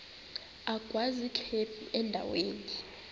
agwaz ikhephu endaweni